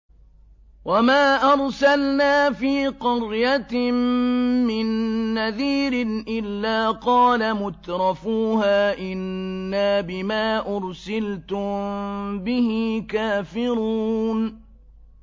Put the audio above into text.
وَمَا أَرْسَلْنَا فِي قَرْيَةٍ مِّن نَّذِيرٍ إِلَّا قَالَ مُتْرَفُوهَا إِنَّا بِمَا أُرْسِلْتُم بِهِ كَافِرُونَ